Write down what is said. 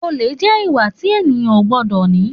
Òlé jẹ ìwá tí ẹyàn ó gbọdọ ni.